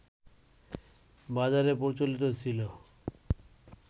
বাজারে প্রচলিত ছিল